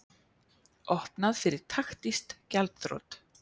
Opnað fyrir taktísk gjaldþrot